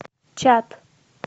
чат